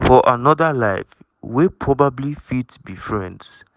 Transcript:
"for anoda life we probably fit be friends."